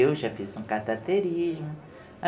Eu já fiz um cateterismo.